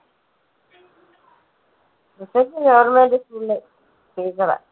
മക്കൾക്ക് goverment school ല് teacher ആ.